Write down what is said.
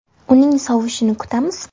Uning sovushini kutamiz.